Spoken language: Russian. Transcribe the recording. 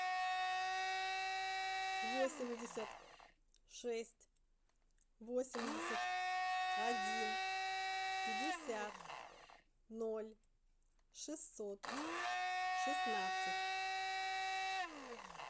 восемьдесят шесть восемьдесят один пятьдесят ноль шестьсот шестнадцать